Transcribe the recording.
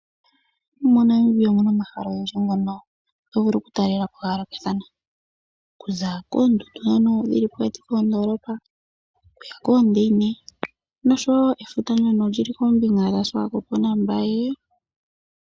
MoNamibia omu na omahala ogendji ngono to vulu okutalela po ga yoolokathana. Okuza koondundu ndhono dhi li pokati koondoolopa, okuya koondaine nosho wo efuta ndyono li li koombinga dhaSwakopo naMbaye.